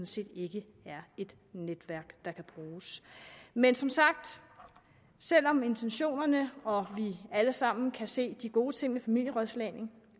set ikke er et netværk der kan bruges men som sagt selv om intentionerne er og vi alle sammen kan se de gode ting ved familierådslagning